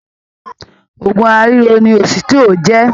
Òògùn ara riro ni ositio jẹ.